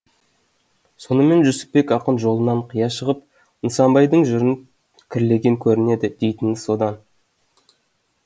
сонымен жүсіпбек ақын жолынан қия шығып нысанбайдың жырын кірлеген көрінеді дейтіні содан